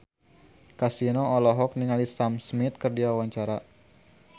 Kasino olohok ningali Sam Smith keur diwawancara